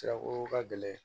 Sira ko ka gɛlɛn